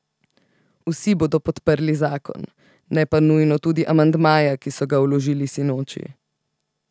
Vsi bodo podprli zakon, ne pa nujno tudi amandmaja, ki so ga vložili sinoči.